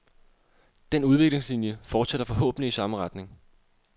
Den udviklingslinie fortsætter forhåbentlig i samme retning.